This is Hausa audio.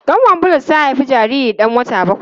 Kanwar Bulus ta haifi jariri dan wata bakwai.